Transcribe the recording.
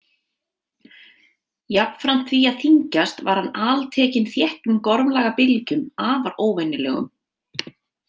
Jafnframt því að þyngjast var hann altekinn þéttum gormlaga bylgjum, afar óvenjulegum.